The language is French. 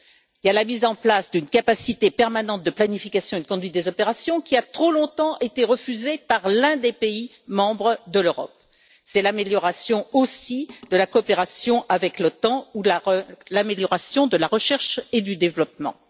Il y a la mise en place d'une capacité militaire de planification et de conduite des opérations qui a trop longtemps été refusée par l'un des pays membres de l'Europe, il y a aussi l'amélioration aussi de la coopération avec l'OTAN ou l'amélioration de la recherche et du développement.